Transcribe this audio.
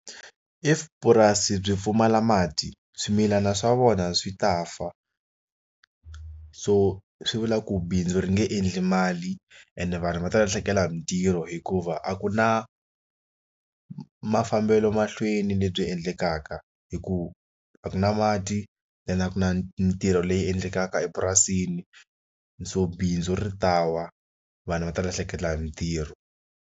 If purasi byi pfumala mati swimilana swa vona swi ta fa so swi vula ku bindzu ri nge endli mali ende vanhu va ta lahlekela hi mintirho hikuva a ku na mafambelo mahlweni lebyi endlekaka hikuva a ku na mati na ku na ntirho leyi endlekaka epurasini so bindzu ri ta wa vana va ta lahlekeriwa hi mitirho.